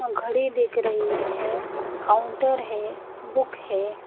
घड़ी दिख रही है काउंटर है बुक है।